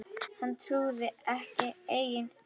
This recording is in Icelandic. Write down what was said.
Hann trúði ekki eigin eyrum.